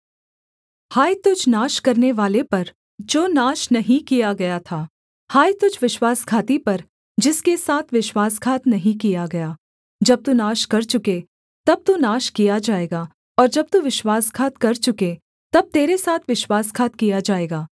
हाय तुझ नाश करनेवाले पर जो नाश नहीं किया गया था हाय तुझ विश्वासघाती पर जिसके साथ विश्वासघात नहीं किया गया जब तू नाश कर चुके तब तू नाश किया जाएगा और जब तू विश्वासघात कर चुके तब तेरे साथ विश्वासघात किया जाएगा